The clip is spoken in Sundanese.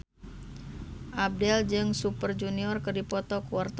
Abdel jeung Super Junior keur dipoto ku wartawan